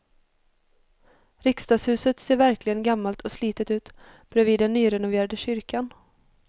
Riksdagshuset ser verkligen gammalt och slitet ut bredvid den nyrenoverade kyrkan.